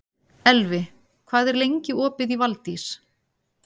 Elvi, hvað er lengi opið í Valdís?